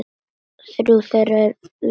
Þrjú þeirra lifa enn.